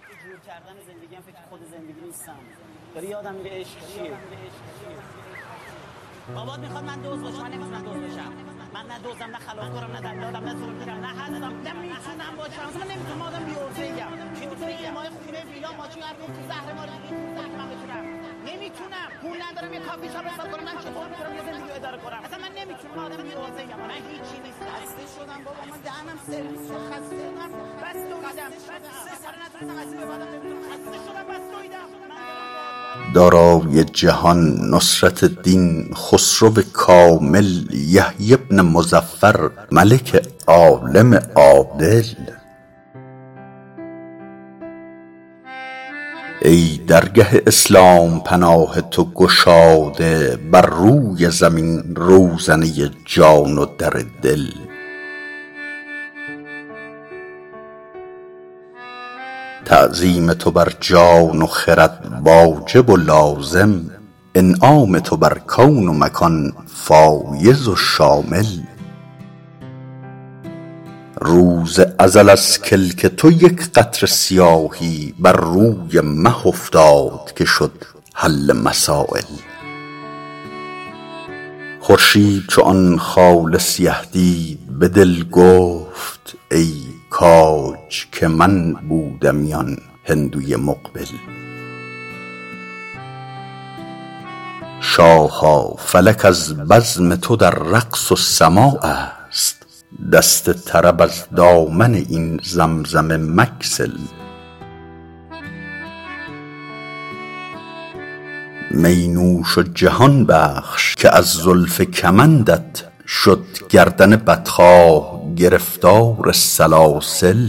دارای جهان نصرت دین خسرو کامل یحیی بن مظفر ملک عالم عادل ای درگه اسلام پناه تو گشاده بر روی زمین روزنه جان و در دل تعظیم تو بر جان و خرد واجب و لازم انعام تو بر کون و مکان فایض و شامل روز ازل از کلک تو یک قطره سیاهی بر روی مه افتاد که شد حل مسایل خورشید چو آن خال سیه دید به دل گفت ای کاج که من بودمی آن هندوی مقبل شاها فلک از بزم تو در رقص و سماع است دست طرب از دامن این زمزمه مگسل می نوش و جهان بخش که از زلف کمندت شد گردن بدخواه گرفتار سلاسل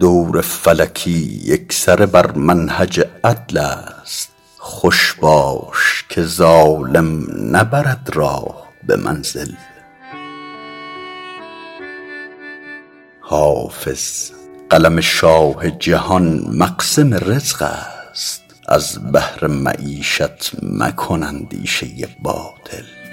دور فلکی یکسره بر منهج عدل است خوش باش که ظالم نبرد راه به منزل حافظ قلم شاه جهان مقسم رزق است از بهر معیشت مکن اندیشه باطل